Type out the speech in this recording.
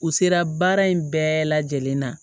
U sera baara in bɛɛ lajɛlen ma